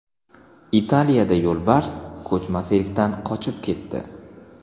Italiyada yo‘lbars ko‘chma sirkdan qochib ketdi .